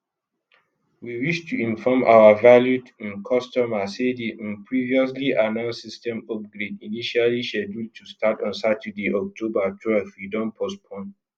we wish to inform our valued um customer say di um previously announced system upgrade initially scheduled to start on saturday october twelve we don postpone